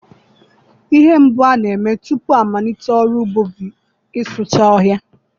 Ihe mbụ a na-eme tupu amalite ọrụ ugbo bụ ịsụcha ọhịa.